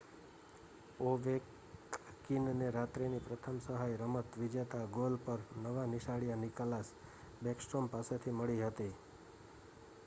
ઓવેકકીનને રાત્રિની પ્રથમ સહાય રમત-વિજેતા ગોલ પર નવા નિશાળિયા નિક્લાસ બેકસ્ટ્રોમ પાસેથી મળી હતી